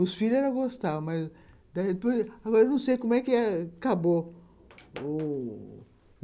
Os filhos ela gostava, mas... Agora eu não sei como é que acabou o